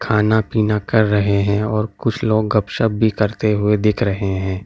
खाना पीना कर रहे है और कुछ लोग गपशप भी करते हुई दिख रहे है ।